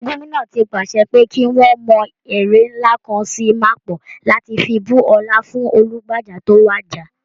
Gómìnà ti pàṣẹ pé kí wọ́n mọ ère ńlá kan sí mapo láti fi bu ọlá fún Olúbàdàn tó wàjà